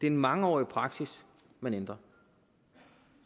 en mangeårig praksis man ændrer